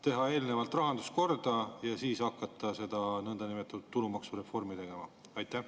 Teha eelnevalt rahandus korda ja siis hakata seda nõndanimetatud tulumaksureformi tegema?